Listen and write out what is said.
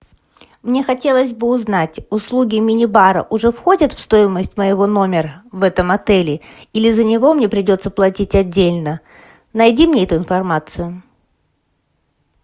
мне хотелось бы узнать услуги мини бара уже входят в стоимость моего номера в этом отеле или за него мне придется платить отдельно найди мне эту информацию